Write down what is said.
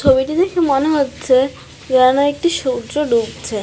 ছবিটি দেখে মনে হচ্ছে যেন একটি সূর্য ডুবছে।